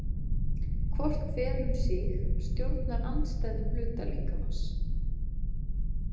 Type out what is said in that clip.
Hvort hvel um sig stjórnar andstæðum hluta líkamans.